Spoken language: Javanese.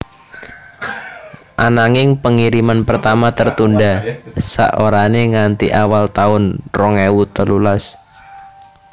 Ananging pengiriman pertama tertunda sak orane nganti awal tahun rong ewu telulas